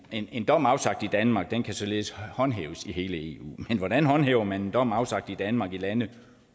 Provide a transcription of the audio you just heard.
en dom afsagt i danmark kan således håndhæves i hele eu men hvordan håndhæver man en dom afsagt i danmark i lande